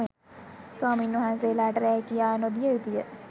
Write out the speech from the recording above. ස්වාමීන් වහන්සේලට රෑකියා නොදිය යුතුය